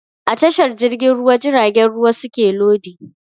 A tashar jirgin ruwa jiragen ruwa suke lodi